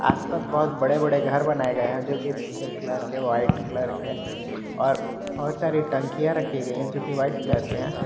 आस पास बहुत बडे बडे घर बनाए गए हैं जो कि पिंक कलर के वाइट कलर के और बहुत सारी टंकीया रखी गईं हैं जो कि वाइट कलर की है।